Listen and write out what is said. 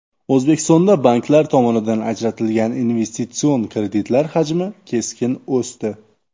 O‘zbekistonda banklar tomonidan ajratilgan investitsion kreditlar hajmi keskin o‘sdi.